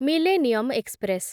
millennium express